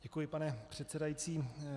Děkuji, pane předsedající.